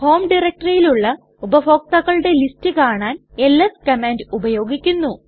home ഡയറക്ടറിയിലുള്ള ഉപഭോക്താക്കളുടെ list കാണാൻ എൽഎസ് കമാൻഡ് ഉപയോഗിക്കുന്നു